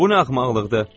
Bu nə axmaqlıqdır?